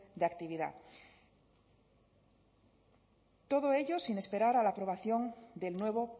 de actividad todo ello sin esperar a la aprobación del nuevo